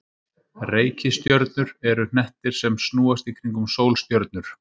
Reikistjörnur eru hnettir sem snúast í kringum sólstjörnur.